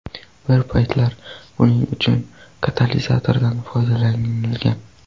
Bir paytlar buning uchun katalizatorlardan foydalanilgan.